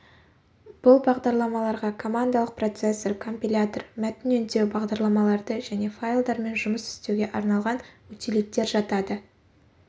бұл бағдарламаларға командалық процессор компилятор мәтін өндеу бағдарламаларды және файлдармен жұмыс істеуге арналған утилиттер жатады